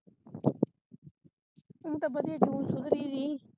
ਹੁਣ ਤੇ ਵਧੀਆ ਜੂਣ ਸੁਧਰੀ ਦੀ